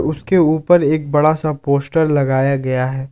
उसके ऊपर एक बड़ा सा पोस्टर लगाया गया है।